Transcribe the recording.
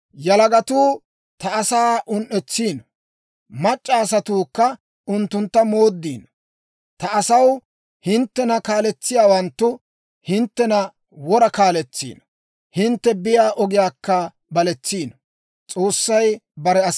Yalagatuu ta asaa un"etsiino; mac'c'a asatuukka unttuntta mooddiino. Ta asaw, hinttena kaaletsiyaawanttu hinttena wora kaaletsiino; hintte biyaa ogiyaakka baletsiino.